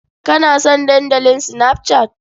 Kana son Dandalin Snapchat?